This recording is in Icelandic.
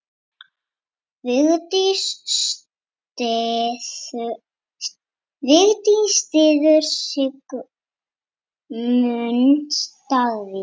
Vigdís styður Sigmund Davíð.